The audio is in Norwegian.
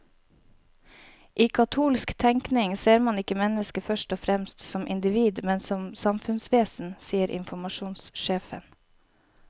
I katolsk tenkning ser man ikke mennesket først og fremst som individ, men som samfunnsvesen, sier informasjonssjefen.